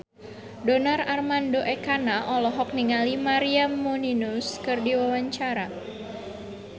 Donar Armando Ekana olohok ningali Maria Menounos keur diwawancara